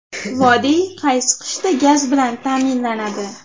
Vodiy qaysi qishda gaz bilan ta’minlanadi?